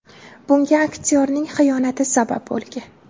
Bunga aktyorning xiyonati sabab bo‘lgan.